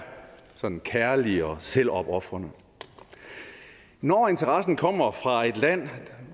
sådan kærlig og selvopofrende når interessen kommer fra et land